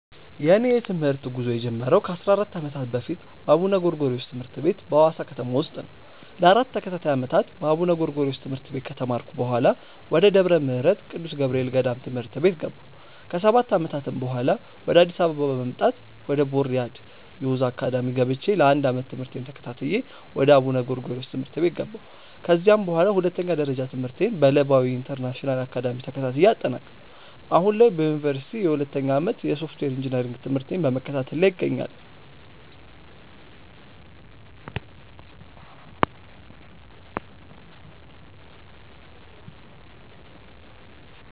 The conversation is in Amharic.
የእኔ የትምህርት ጉዞ የጀመረው ከ 14 ዓመታት በፊት በአቡነ ጎርጎሪዎስ ትምህርት ቤት በሀዋሳ ከተማ ውስጥ ነው። ለ 4 ተከታታይ ዓመታት በአቡነ ጎርጎሪዮስ ትምህርት ቤት ከተማርኩ በኃላ፣ ወደ ደብረ ምህረት ቅዱስ ገብርኤል ገዳም ትምህርት ቤት ገባሁ። ከ 7 ዓመታትም በኃላ፣ ወደ አዲስ አበባ በመምጣት ወደ ቦርያድ ዮዝ አካዳሚ ገብቼ ለ 1 ዓመት ትምህርቴን ተከታትዬ ወደ አቡነ ጎርጎሪዮስ ትምህርት ቤት ገባሁ። ከዚያም በኃላ ሁለተኛ ደረጃ ትምህርቴን በለባዊ ኢንተርናሽናል አካዳሚ ተከታትዬ አጠናቀኩ። አሁን ላይ በዮኒቨርሲቲ የሁለተኛ ዓመት የሶፍትዌር ኢንጂነሪንግ ትምህርቴን በመከታተል ላይ እገኛለሁ።